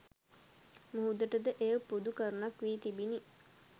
මුහුදට ද එය පොදු කරුණක් වී තිබිණි.